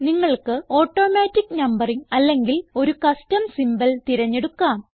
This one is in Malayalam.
നിങ്ങൾക്ക് ഓട്ടോമാറ്റിക് നംബറിംഗ് അല്ലെങ്കിൽ ഒരു കസ്റ്റം സിംബോൾ തിരഞ്ഞെടുക്കാം